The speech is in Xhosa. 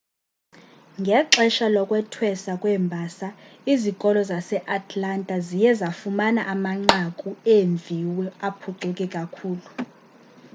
ngexesha lokwethweswa kweembasa izikolo zaseatlanta ziye zafumana amanqaku eemviwo aphucuke kakhulu